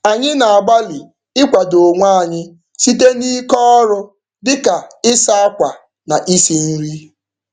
Anyị na-agbalị ịkwado onwe anyị site n'ike ọrụ dị ka ịsa akwa na isi nri.